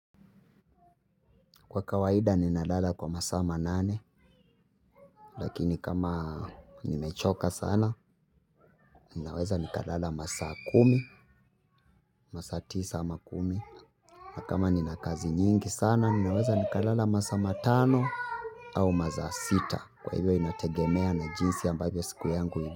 Kwa kawaida ninalala kwa masaa manane, lakini kama nimechoka sana, ninaweza nikalala masaa kumi, masaa tisa ama kumi. Na kama nina kazi nyingi sana, ninaweza nikalala masaa matano au masaa sita, kwa hivyo inategemea na jinsi ambavyo siku yangu.